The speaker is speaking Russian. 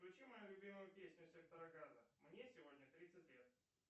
включи мою любимую песню сектора газа мне сегодня тридцать лет